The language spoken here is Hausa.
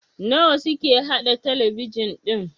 nawa suke haɗa talabijin ɗin?